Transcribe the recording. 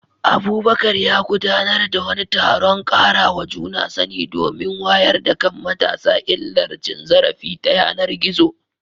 Abubakar ya gudanar da wani taron ƙarawa juna sani domin wayar da kan matasa illar cin zarafi ta yanar gizo.